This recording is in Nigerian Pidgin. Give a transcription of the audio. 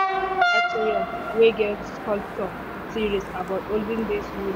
we enter atrium wey get sculpture series about olden days unity.